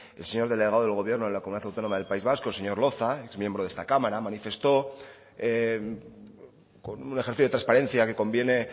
el señor delegado del gobierno de la comunidad autónoma del país vasco el señor loza exmiembro de esta cámara manifestó con un ejercicio de transparencia que conviene